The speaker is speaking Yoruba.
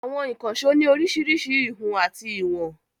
Àwọn ìkànṣó ní oríṣiríṣi ìhun àti ìwọ̀n.